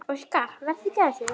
Óskar: Vertu ekki að þessu.